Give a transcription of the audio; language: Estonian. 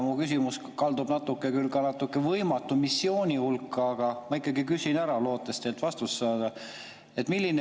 Mu küsimus kaldub natukene küll võimatu missiooni hulka, aga ma ikkagi küsin, lootes teilt vastust saada.